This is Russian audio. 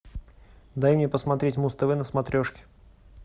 дай мне посмотреть муз тв на смотрешке